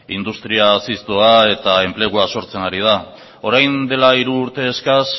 industria eta enplegua sortzen ari da orain dela hiru urte eskas